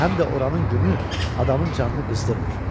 Həm də oranı günü adamın canını qızdırmır.